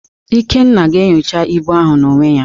Ikenna ga-enyocha ibu ahụ n'onwe ya.